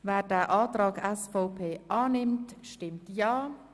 Wer diesen Antrag annimmt, stimmt Ja.